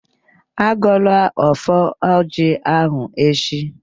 Agọla ọfọ ọjị ahụ echi!